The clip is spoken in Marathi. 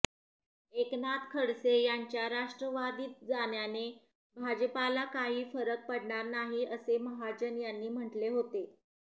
एकनाथ खडसे यांच्या राष्ट्रवादीत जाण्याने भाजपाला काही फरक पडणार नाही असे महाजन यांनी म्हटले होते